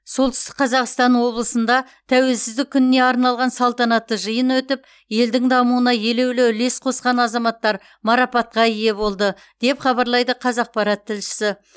солтүстік қазақстан облысында тәуелсіздік күніне арналған салтанатты жиын өтіп елдің дамуына елеулі үлес қосқан азаматтар марапатқа ие болды деп хабарлайды қазақпарат тілшісі